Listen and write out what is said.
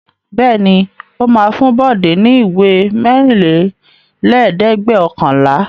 Bẹ́ẹ̀ ni, ó máa fún Bọ̀dé ní ìwé mẹ́rìnlélẹ́ẹ̀dẹ́gbẹ̀ọ̀kànlá.